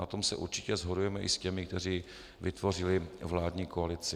Na tom se určitě shodujeme i s těmi, kteří vytvořili vládní koalici.